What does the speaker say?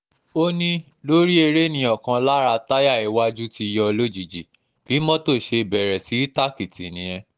ó ní lórí ère ni ọ̀kan lára táyà iwájú ti yọ lójijì bí mọ́tò ṣe bẹ̀rẹ̀ sí í tàkìtì nìyẹn